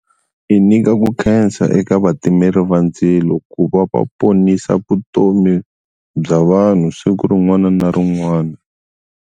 I nyika ku khensa eka vatimeli va ndzilo ku va va ponisa vutomi bya vanhu siku rin'wana na rin'wana.